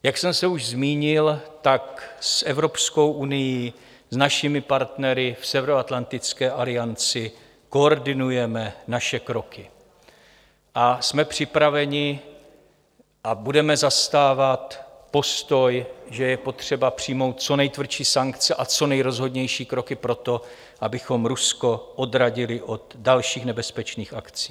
Jak jsem se už zmínil, tak s Evropskou unií, s našimi partnery v Severoatlantické alianci koordinujeme naše kroky a jsme připraveni a budeme zastávat postoj, že je potřeba přijmout co nejtvrdší sankce a co nejrozhodnější kroky pro to, abychom Rusko odradili od dalších nebezpečných akcí.